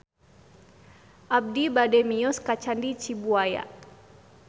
Abi bade mios ka Candi Cibuaya